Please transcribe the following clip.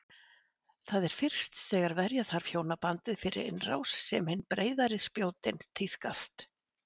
Það er fyrst þegar verja þarf hjónabandið fyrir innrás sem hin breiðari spjótin tíðkast.